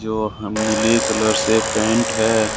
जो हम नीले कलर से पेंट है।